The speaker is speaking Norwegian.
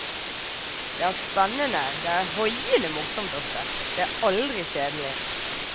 Det er spennende, det er hoiende morsomt ofte, det er aldri kjedelig.